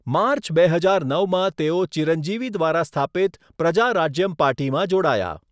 March બે હજાર નવમાં તેઓ ચિરંજીવી દ્વારા સ્થાપિત પ્રજા રાજ્યમ પાર્ટીમાં જોડાયા.